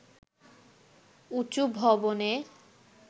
উঁচু ভবনে